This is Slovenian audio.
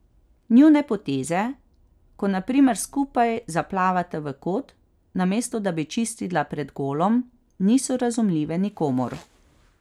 Njune poteze, ko na primer skupaj zaplavata v kot, namesto da bi čistila pred golom, niso razumljive nikomur.